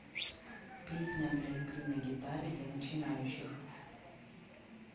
песня для игры на гитаре для начинающих